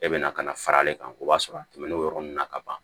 E bɛna ka na fara ale kan o b'a sɔrɔ a tɛmɛn'o yɔrɔ ninnu na ka ban